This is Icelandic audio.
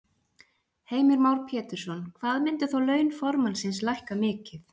Heimir Már Pétursson: Hvað myndu þá laun formannsins lækka mikið?